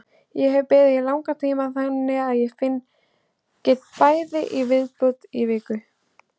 Ég hef beðið í langan tíma þannig að ég get beðið í viku í viðbót.